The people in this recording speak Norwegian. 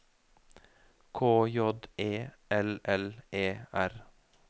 K J E L L E R